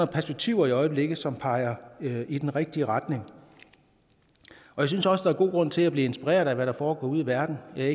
perspektiver i øjeblikket som peger i den rigtige retning jeg synes også der er god grund til at blive inspireret af hvad der foregår ude i verden jeg er